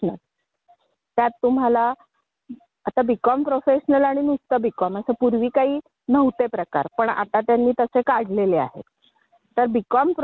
पुढे जाऊन चांगली पुढचं करिअर करता आलं पाहिजे. तर त्यामध्ये आत्ताच मी एक जाहिरात पाहिली.